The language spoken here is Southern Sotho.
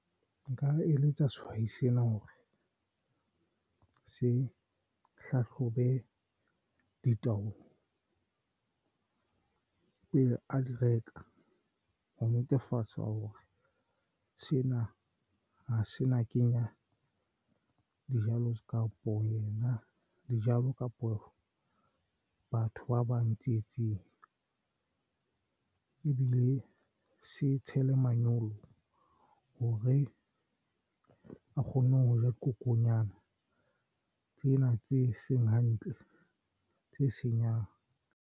Nka eletsa sehwai sena hore se hlahlobe pele a di reka. Ho netefatsa hore sena ha se na kenya dijalo kapo yena dijalo kapo batho ba bang tsietsing ebile se tshelang manyolo hore a kgone ho ja dikokonyana tsena tse seng hantle tse senyang.